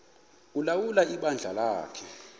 ulawula ibandla lakhe